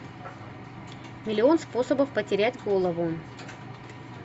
миллион способов потерять голову